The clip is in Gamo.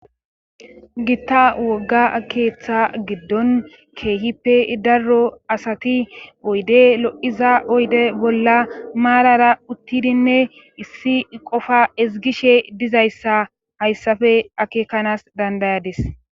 gitta wogga keeththa giddon keehippe darro asati oyde lo7iza oyde bolla maarara uttidinne issi qofa ezgishe dizayssa hayssafe akeekanas dandayadis